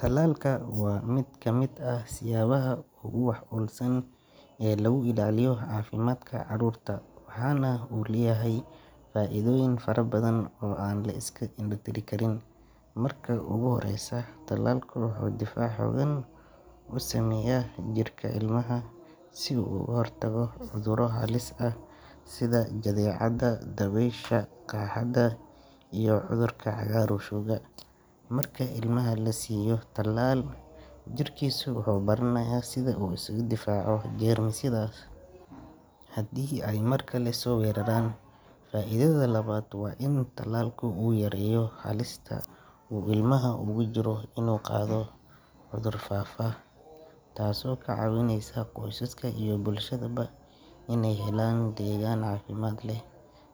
Tallaalka waa mid ka mid ah siyaabaha ugu wax ku oolsan ee lagu ilaaliyo caafimaadka caruurta, waxaana uu leeyahay faa’iidooyin fara badan oo aan la iska indho tiri karin. Marka ugu horreysa, tallaalku wuxuu difaac xooggan u sameeyaa jirka ilmaha si uu uga hortago cudurro halis ah sida jadeecada, dabaysha, qaaxada iyo cudurka cagaarshowga. Marka ilmaha la siiyo tallaal, jirkiisa wuxuu baranayaa sida uu isaga difaaco jeermisyadaas haddii ay mar kale soo weeraraan. Faa’iidada labaad waa in tallaalku uu yareeyo halista uu ilmuhu ugu jiro inuu qaado cudur faafa, taasoo ka caawinaysa qoysaska iyo bulshadaba inay helaan deegaan caafimaad leh.